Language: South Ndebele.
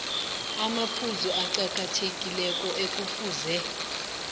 amaphuzu aqakathekileko ekufuze